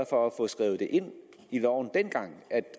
for at få skrevet ind i loven at